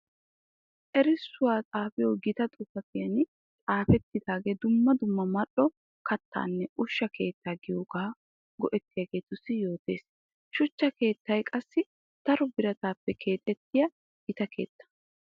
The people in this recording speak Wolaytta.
Erissuwa xaafiyo gita xuufiyan xaafetidaage dumma dumma mali'o kattanne ushsha keetta gidiyooga go'ettiyagetussu yootessi. Shuchcha keettay qassi daro birattappe keexxetiya gita keetta.